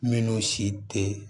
Minnu si tɛ